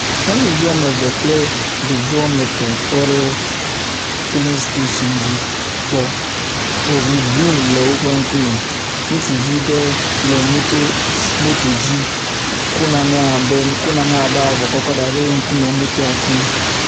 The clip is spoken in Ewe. Nyɔnuvi wɔme eve kple ɖevi wɔme etɔ̃ tɔ ɖe filin station dzi gbɔ. Eŋu grin le woƒe ŋkume. Ŋutsuvi ɖe le moto s moto dzi kɔ nane abe ko nane abe avɔ kɔkɔ da ɖe ŋkume motoa kum.